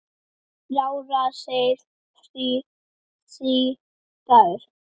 Ráða þeir því, Dagur?